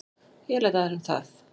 Ég læt aðra um það